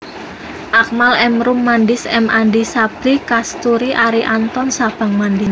Akmal M Roem Mandis M Andi Sabri Kasturi Arie Anton Sabang Mandis